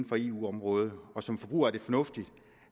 på eu området og som forbruger er det fornuftigt